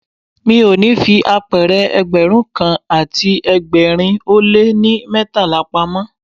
Mi ò ní fi apẹ̀rẹ̀ Ẹgbẹ̀rún kan àti ẹgbẹ̀rin ó lé ní mẹ́tàlá pamọ́.